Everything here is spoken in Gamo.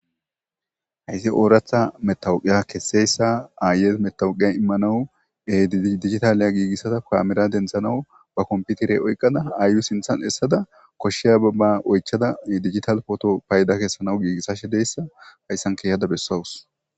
hayssi ooratha metawuqiya kesseyssa aayes metawuqiya immanawu e digitaliya giigissata kaamira denthanawu ba komputirey oyqada aayu sinthan essada koshsheya babba oychada digital pooto payda kessanaw giigissashe deyssa hayssan keehada bessawus